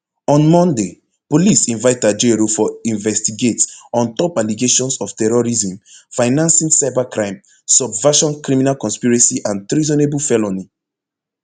on monday police invite ajaero for investigate on top allegations of terrorism financing cybercrime subversion criminal conspiracy and treasonable felony